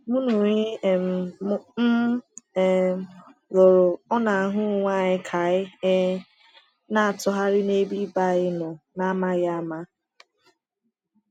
Mụ na onye um m um lụrụ ọ na-ahụ onwe anyị ka anyị um na-atụgharị n’ebe ibe anyị nọ n’amaghị ama?